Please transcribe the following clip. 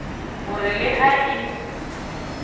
ho re le ha e